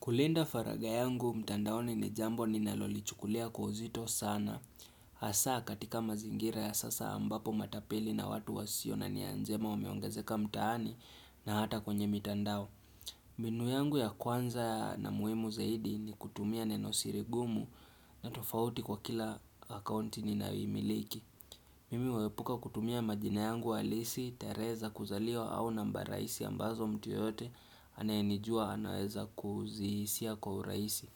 Kulinda faraga yangu, mtandaone ni jambo ni nalolichukulia kwa uzito sana. Hasa katika mazingira ya sasa ambapo matapeli na watu wasio na nia njema umeongazeka mtaani na hata kwenye mitandao. Mbinu yangu ya kwanza na muhimu zaidi ni kutumia neno sirigumu na tofauti kwa kila akonti ni nayi imiliki. Mimi huepuka kutumia majina yangu halisi, terehe za kuzaliwa au namba raisi ambazo mtu yoyote anayenijua anaeza kuzihisia kwa raisi.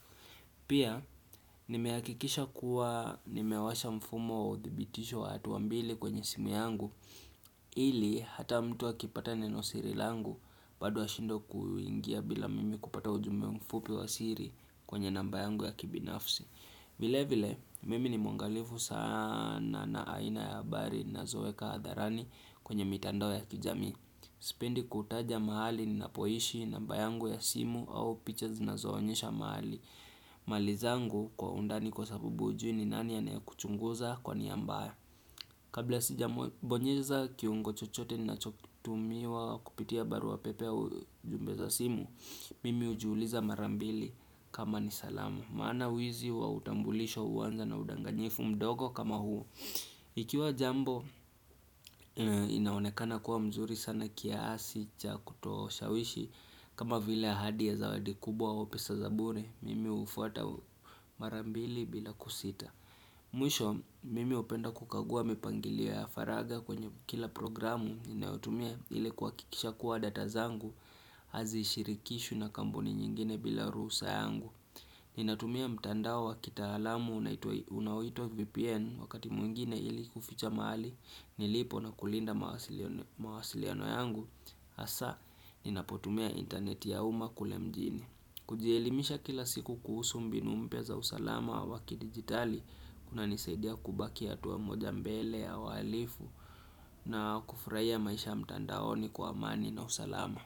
Pia, nimeakikisha kuwa nimewasha mfumo wa uthibitisho wa hatuambili kwenye simu yangu. Ili, hata mtu akipata neno siri langu, bado ashindwe kuingia bila mimi kupata ujume mfupi wa siri kwenye namba yangu ya kibinafsi. Vile vile, mimi ni mungalifu sana na aina ya habari ninazoeka hadharani kwenye mitando ya kijamii. Sipendi kutaja mahali ninapo ishi namba yangu ya simu au picha na zinazoonyesha mahali. Malizangu kwa undani kwa sabubu ujui ni nani anayekuchunguza kwa niya mbaya. Kabla sija mbonyeza kiungo chochote na chokitumiwa kupitia baru wa pepe au jumbeza simu, mimi ujuuliza marambili kama ni salamu. Maana wizi wautambulisho uwanza na udanganyifu mdogo kama huu Ikiwa jambo inaonekana kuwa mzuri sana kia asi chakutoa ushawishi kama vile ahadi ya zawadi kubwa au pesa za bure Mimi ufata marambili bila kusita Mwisho mimi upenda kukagua mipangilio ya faraga kwenye kila programu ninayotumia ili kuhakikisha kuwa data zangu Hazi shirikishu na kamboni nyingine bila ruhusa yangu Ninatumia mtandao wakita alamu unawitua VPN wakati mwingine ili kuficha mahali nilipo na kulinda mawasiliano yangu hasa ninapotumia interneti ya uma kule mjini. Kujielimisha kila siku kuhusu mbinu mpya za usalama waki digitali kunanisaidia kubaki hatuwa moja mbele ya walifu na kufuraia maisha mtandaoni kwa amani na usalama.